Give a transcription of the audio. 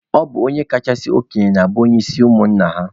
Ọ bụ onye kachasị okenye na-abụ onye isi ụmụnna ya.